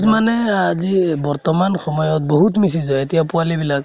মানে আজি বৰ্তমান সময়ত বহুত miss use হয়। এতিয়া পোৱালী বিলাক